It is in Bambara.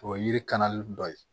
O ye yiri kanali dɔ ye